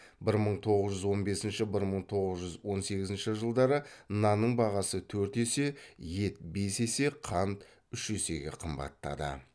бір мың тоғыз жүз он бесінші бір мың тоғыз жүз он сегізінші жылдары нанның бағасы төрт есе ет бес есе қант үш есеге қымбаттады